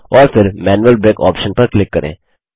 और फिर manual brake option पर क्लिक करें